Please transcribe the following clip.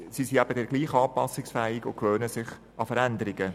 Sie sind dann aber gleichwohl anpassungsfähig und gewöhnen sich an Veränderungen.